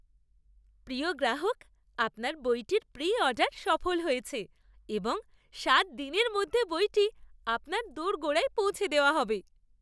প্রিয় গ্রাহক! আপনার বইটির প্রি অর্ডার সফল হয়েছে এবং সাত দিনের মধ্যে বইটি আপনার দোরগোড়ায় পৌঁছে দেওয়া হবে।